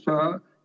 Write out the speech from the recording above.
Selge.